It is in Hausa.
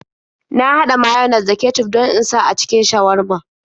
Na haɗa mayones da kecuf don in sa a cikin shawarma.